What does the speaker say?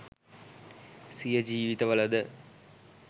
සිය ජීවිතවල ද